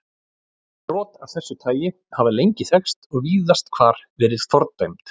Brot af þessu tagi hafa lengi þekkst og víðast hvar verið fordæmd.